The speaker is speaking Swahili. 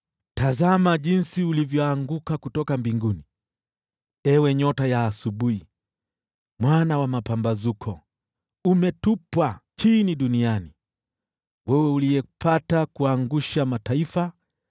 Tazama jinsi ulivyoanguka kutoka mbinguni, ewe nyota ya asubuhi, mwana wa mapambazuko! Umetupwa chini duniani, wewe uliyepata kuangusha mataifa!